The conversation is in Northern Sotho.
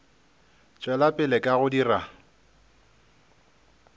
tšwela pele ka go dira